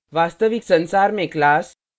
वास्तविक संसार में class